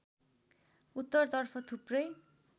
उत्तरतर्फ थुप्रै